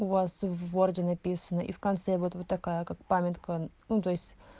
у вас в ворде написано и в конце вот вот такая как памятка ну то есть